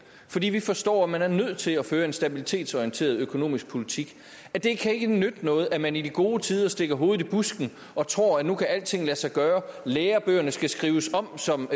fordi vi forstår at man er nødt til at føre en stabilitetsorienteret økonomisk politik det kan ikke nytte noget at man i de gode tider stikker hovedet i busken og tror at nu kan alting lade sig gøre lærebøgerne skal skrives om som